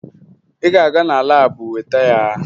Ị ga-aga na laabụ weta ya!